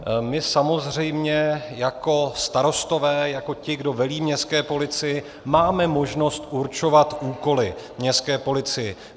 My samozřejmě jako starostové, jako ti, kdo velí městské policii, máme možnost určovat úkoly městské policii.